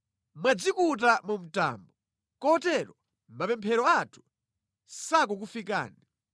Mwadzikuta mu mtambo kotero mapemphero athu sakukufikani.